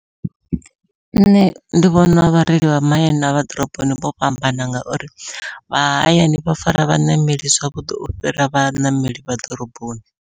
Nṋe ndi vhona vhareili vha mahayani navha ḓoroboni vho fhambana ngauri vha hayani vha fara vhaṋameli zwavhuḓi u fhira vhaṋameli vha ḓoroboni.